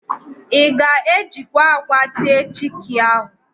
Ị ga-ejikwa ákwà sie chiki ahụ?